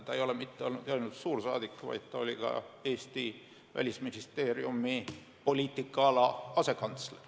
Ta ei ole olnud ju mitte ainult suursaadik, vaid ta oli ka Eesti Välisministeeriumi poliitikaala asekantsler.